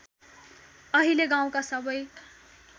अहिले गाउँका सबै